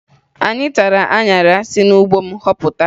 Anyị tara aṅara anyị si n'ugbo m họpụta